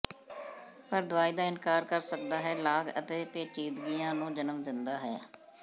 ਪਰ ਦਵਾਈ ਦਾ ਇਨਕਾਰ ਕਰ ਸਕਦਾ ਹੈ ਲਾਗ ਅਤੇ ਪੇਚੀਦਗੀਆਂ ਨੂੰ ਜਨਮ ਦਿੰਦਾ ਹੈ